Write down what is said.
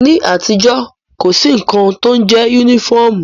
Ní àtijọ́, kò sí nnkan kan tó ń jẹ yúnífọ̀mù